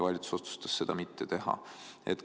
Valitsus otsustas seda mitte teha.